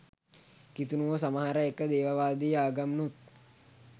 කිතුනුවෝ සමහර ඒක දේවවාදී ආගම්නුත්